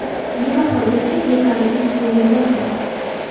Yil oxirigacha yetarli insulinimiz bor.